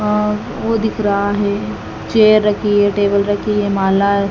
और वो दिख रहा है। चेयर रखी है टेबल रखी है। माला--